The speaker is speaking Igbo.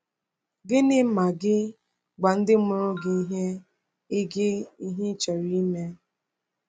Gịnị ma gị gwa ndị mụrụ gị ihe ị gị ihe ị chọrọ ime?